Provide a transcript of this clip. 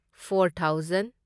four thousand